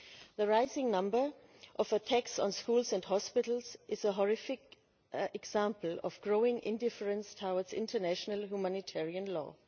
The rising number of attacks on schools and hospitals is a horrific example of growing indifference towards international humanitarian law.